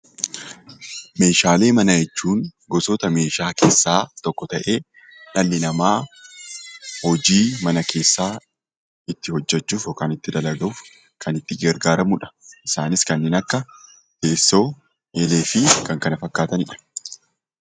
Meeshaalee manaa jechuun gosoota meeshaa keessaa tokko ta'ee dhalli namaa hojii manaa keessaa ittiin hojjechuuf yookiin dalaguuf kan itti gargaaramudha. Isaanis kanneen akka: teessoo, eelee fi kan kana fakkaatanidha.